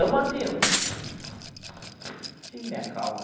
Eu mantive mantive a minha calma.